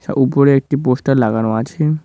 উপরে একটি পোস্টার লাগানো আছে।